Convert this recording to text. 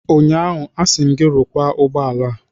Ụnyaahụ, asị m gị, rụkwaa ụgbọ ala a!